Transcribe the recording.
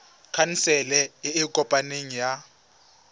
khansele e e kopaneng ya